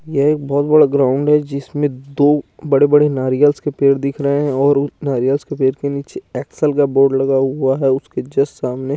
यह एक बहुत बड़ा ग्राउंड है जिसमें दो बड़े बड़े नारियल्स के पेड़ दिख रहे हैं और उस नारियल्स के पेड़ के नीचे एक्सेल का बोर्ड लगा हुआ है उसके जस्ट सामने--